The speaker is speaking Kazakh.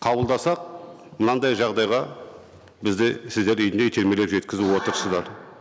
қабылдасақ мынандай жағдайға бізді сіздер титермелеп жеткізіп отырсыздар